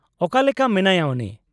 -ᱚᱠᱟᱞᱮᱠᱟ ᱢᱮᱱᱟᱭᱟ ᱩᱱᱤ ?